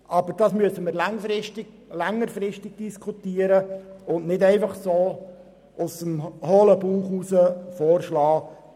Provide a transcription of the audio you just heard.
Aber das müssten wir längerfristig diskutieren und nicht einfach so aus dem hohlen Bauch vorschlagen.